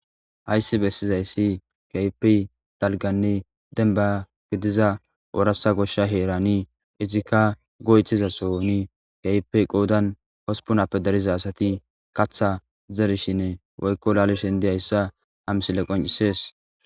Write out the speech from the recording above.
Haysii bessizayssi kaypi dalganne denba gidiza oorasa goshsha heerani izikka goythizasoni keypi qoodan hospunappe dariza asati katha zerishine woykko laalishin di hayssa ha misile qoncisees.